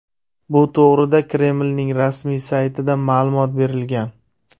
Bu to‘g‘rida Kremlning rasmiy saytida ma’lumot berilgan .